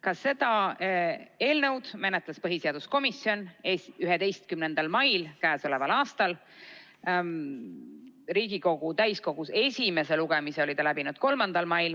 Ka seda eelnõu menetles põhiseaduskomisjon 11. mail k.a. Riigikogu täiskogus esimese lugemise oli ta läbinud 3. mail.